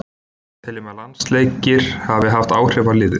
Við teljum að landsleikir hafi haft áhrif á liðið.